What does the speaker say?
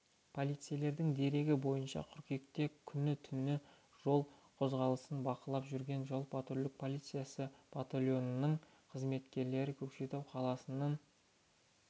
полицейлердің дерегі бойынша қыркүйекте күні түнде жол қозғалысын бақылап жүрген жол-патрульдік полиция батальонының қызметкерлері көкшетау қаласының